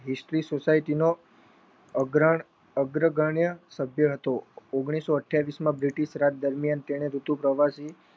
history society નો અગ્રગણ્ય અગ્ર ગણીય હતો ઓગણીસો અઠ્યાવીશ માં બ્રિટિશ રાજ દરમિયાન તેને ઋતુ પ્રવાસી